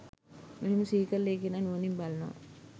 මෙහෙම සිහිකරල ඒ කෙනා නුවණින් බලනවා